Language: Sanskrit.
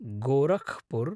गोरखपुर्